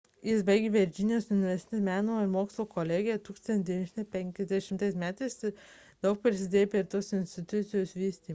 jis baigė virdžinijos universiteto meno ir mokslo kolegiją 1950 m ir daug prisidėjo prie tos institucijos vystymo